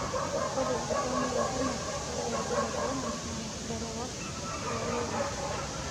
Ore iltamoyiak kumok lolkirobi le corona na larewak loororin.